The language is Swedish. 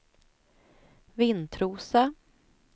Vintrosa